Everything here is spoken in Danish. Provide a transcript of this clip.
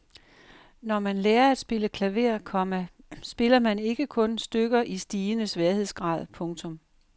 Når man lærer at spille klaver, komma spiller man ikke kun stykker i stigende sværhedsgrad. punktum